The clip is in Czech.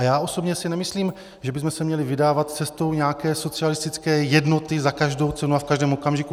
A já osobně si nemyslím, že bychom se měli vydávat cestou nějaké socialistické jednoty za každou cenu a v každém okamžiku.